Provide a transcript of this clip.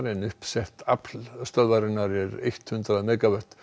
en uppsett afl stöðvarinnar er eitt hundrað megavött